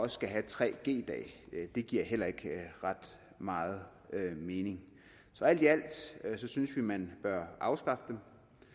skal have tre g dage det giver heller ikke ret meget mening så alt i alt synes vi man bør afskaffe dem